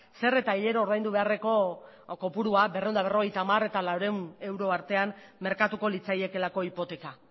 zer eta hilero ordaindu beharreko kopurua berrehun eta berrogeita hamar eta laurehun euro artean merkatuko litzaiekeelako hipoteka